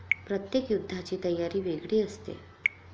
प्रत्येक युद्धाची तयारी वेगळी असते.